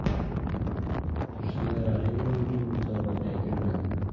Tursunoy Rahimova uchun musobaqa yakunlandi.